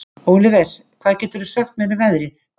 Óliver, hvað geturðu sagt mér um veðrið?